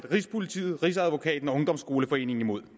rigspolitiet rigsadvokaten og ungdomsskoleforeningen imod